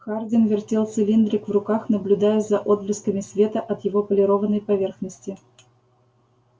хардин вертел цилиндрик в руках наблюдая за отблесками света от его полированной поверхности